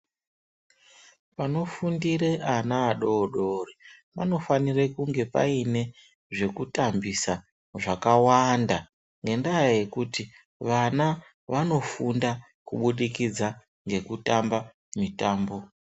Panofundire ana adodori, panofanire kunge paine zvekutambisa zvakawanda ngendaa yekuti vana vanofunda kubudikidza ngekutamba mitambo.